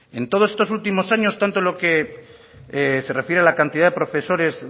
en todos estos últimos años tanto en lo que se refiere a la cantidad de profesores